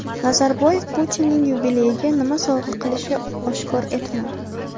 Nazarboyev Putinning yubileyiga nima sovg‘a qilishini oshkor etmadi.